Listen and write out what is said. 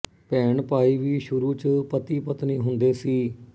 ਭੈਣ ਭਾਈ ਵੀ ਸੁਰੂ ਚ ਪਤੀ ਪਤਨੀ ਹੁੰਦੇ ਸੀ